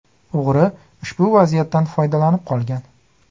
O‘g‘ri ushbu vaziyatdan foydalanib qolgan.